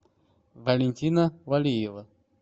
валентина валиева